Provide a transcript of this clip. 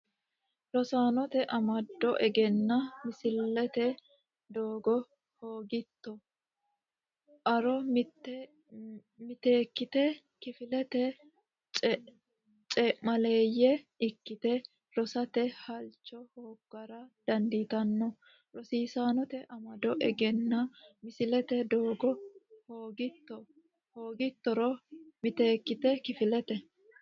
Rosaanote amado egennaa misiisate doogo hoogitto a ro miteekkite kifilete cee maaleeyye ikkite rosate halcho hooggara dandiitanno Rosaanote amado egennaa misiisate doogo hoogitto a ro miteekkite kifilete.